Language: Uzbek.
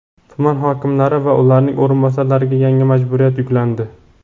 Tuman hokimlari va ularning o‘rinbosarlariga yangi majburiyat yuklandi.